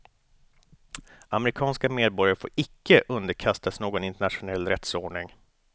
Amerikanska medborgare får icke underkastas någon internationell rättsordning.